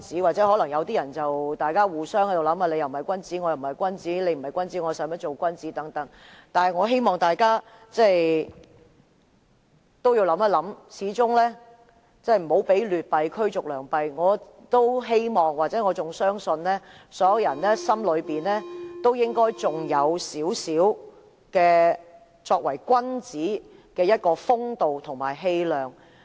或許有人會互相猜忌，你不是君子，我也不是君子，既然你不是君子，我又何需當君子等，但我希望大家想一想，我們不要讓劣幣驅逐良幣，我也希望——我亦仍然相信——所有人的心中應該仍有少許作為君子的風度和氣量。